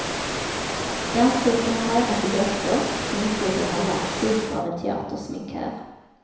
Dansgruppen har övat i veckor, sminkgruppen har lärts upp av en teatersminkör.